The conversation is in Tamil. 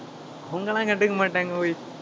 அவங்க எல்லாம் கண்டுக்க மாட்டாங்க ஒய்